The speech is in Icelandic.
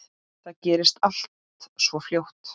Það gerðist allt svo fljótt.